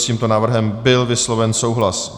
S tímto návrhem byl vysloven souhlas.